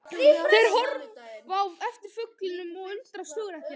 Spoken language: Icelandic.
Þeir horfa á eftir fuglinum og undrast hugrekki hans.